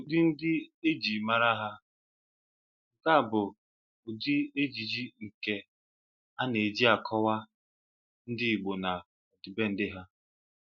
Ụdị ndị ejị mara ha: Nke a bụ ụdị ejiji nke ana-eji akọwa ndị Igbo na ọdịbendị ha.